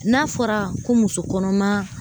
N'a fɔra ko muso kɔnɔma